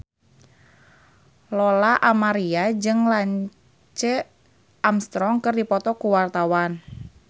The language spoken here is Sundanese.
Lola Amaria jeung Lance Armstrong keur dipoto ku wartawan